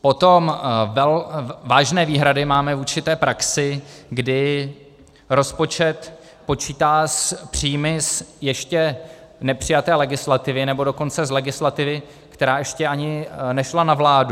Potom vážné výhrady máme vůči té praxi, kdy rozpočet počítá s příjmy z ještě nepřijaté legislativy, nebo dokonce z legislativy, která ještě ani nešla na vládu.